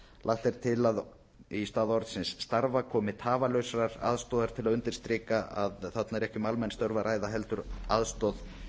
lagt er til að í stað orðsins starfa komi tafarlausrar aðstoðar til að undirstrika að fara er ekki um almenn störf að ræða heldur aðstoð